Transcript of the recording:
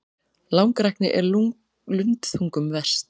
Langrækni er lundþungum verst.